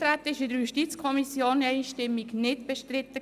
Das Eintreten wurde von der JuKo einstimmig nicht bestritten.